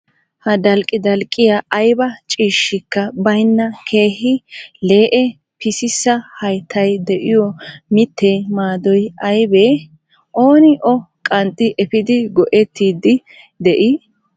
Ha dalqqi dalqqiya ayba ciishshikka bayinna keehi lee"e pisissa hayttay diyo mittee maadoyi aybee? Ooni O qanxxi efiidi go"ettiiddi de"ii?